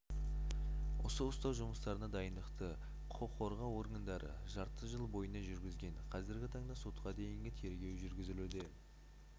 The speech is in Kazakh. осы ұстау жұмыстарына дайындықты құқыққорғау органдары жарты жыл бойына жүргізген қазіргі таңда сотқа дейнігі тергеу жүргізілуде